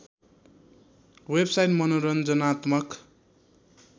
website मनोरञ्जनात्मक